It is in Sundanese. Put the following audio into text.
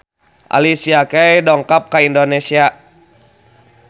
Alicia Keys dongkap ka Indonesia